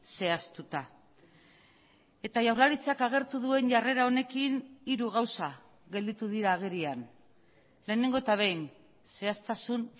zehaztuta eta jaurlaritzak agertu duen jarrera honekin hiru gauza gelditu dira agerian lehenengo eta behin zehaztasun